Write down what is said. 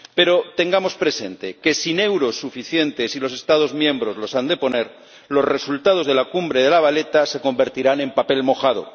Pero tengamos presente que, sin euros suficientes —y los Estados miembros los han de poner—, los resultados de la cumbre de La Valeta se convertirán en papel mojado.